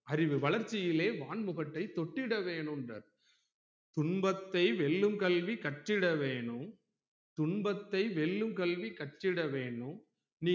அறிவு வளர்ச்சிளே வான்முகற்றை தொட்டிட வேணும்றாறு துன்பத்தை வெல்லும் கல்வி கற்றிட வேணும் துன்பத்தை வெல்லும் கல்வி கற்றிட வேணும் நீ